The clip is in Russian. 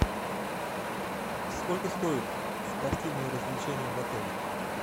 сколько стоят спортивные развлечения в отеле